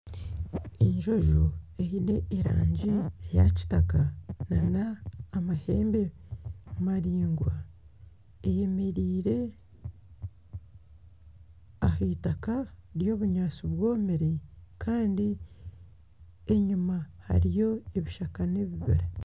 Enjojo eine erangi ya kitaka nana amahembe maraingwa eyemereire aha eitaka ry'obunyaatsi bwomire kandi enyima hariyo ebishaka n'ebibira.